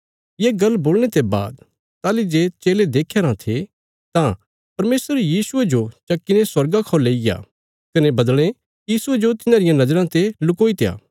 ये गल्ल बोलणे ते बाद ताहली जे चेले देख्या राँ थे तां परमेशर यीशुये जो चक्कीने स्वर्गा खौ लेईग्या कने बद्दल़ें यीशुये जो तिन्हांरियां नज़राँ ते लुकोईत्या